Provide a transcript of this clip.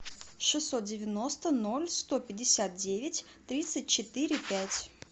шестьсот девяносто ноль сто пятьдесят девять тридцать четыре пять